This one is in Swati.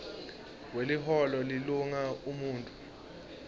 weliholo lilunga umuntfu